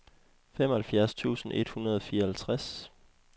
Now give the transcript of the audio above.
femoghalvtreds tusind et hundrede og fireoghalvtreds